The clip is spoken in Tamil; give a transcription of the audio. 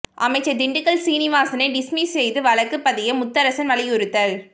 அமைச்சர் திண்டுக்கல் சீனிவாசனை டிஸ்மிஸ் செய்து வழக்கு பதிய முத்தரசன் வலியுறுத்தல்